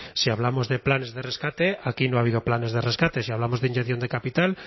si hablamos de planes de rescate aquí no ha habido planes de rescate y si hablamos de inyección de capital